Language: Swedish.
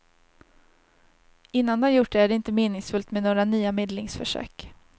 Innan de gjort det är det inte meningsfullt med några nya medlingsförsök.